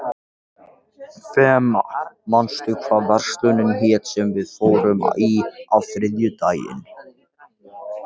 Fema, manstu hvað verslunin hét sem við fórum í á þriðjudaginn?